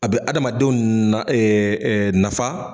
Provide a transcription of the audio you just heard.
A be adamadenw na ɛ ɛ nafa